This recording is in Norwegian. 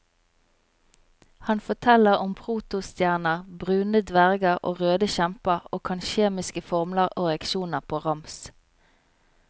Han forteller om protostjerner, brune dverger og røde kjemper og kan kjemiske formler og reaksjoner på rams.